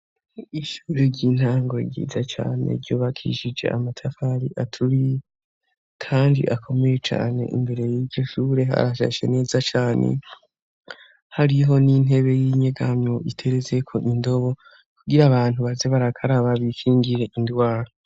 Ishure ry'intango ryiza cane ryobakishije amatafari aturi, kandi akomeye cane imbere y'iryo shure harashasha neza cane hariho n'intebe y'inyegamyo iterezeko indobo kugira abantu baze barakaraba bikingire indwaro.